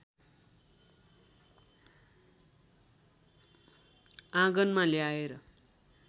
आगनमा ल्याएर